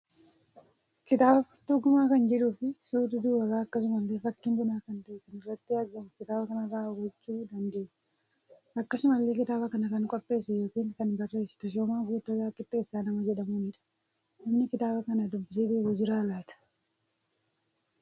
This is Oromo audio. Kitaaba furtuu Guma kan jedhuu fi suurri dubara akkasumalle fakkiin bunaa kan ta'e kan irratti argamu kitaaba kanarra hubachuu dandeenya. Akkasumallee kitaaba kana kan qopheesse yookiin kan barreesse Tashoomaa Guuttataa Qixxeessaa nama jedhamuunidha. Namni kitaaba kana dubbisee beeku jira laata?